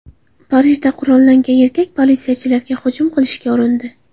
Parijda qurollangan erkak politsiyachilarga hujum qilishga urindi.